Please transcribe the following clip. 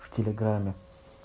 в телеграмме